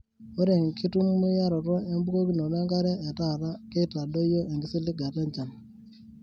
Ore enkitumiaroto ebukokinoto enkare etata keitadoyio enkisiligata enjan.